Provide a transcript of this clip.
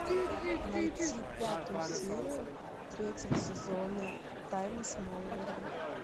найти пятую серию третьего сезона тайны смолвиля